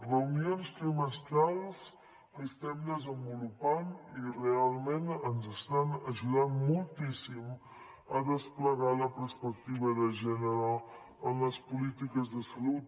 reunions trimestrals que estem desenvolupant i realment ens estan ajudant moltíssim a desplegar la perspectiva de gènere en les polítiques de salut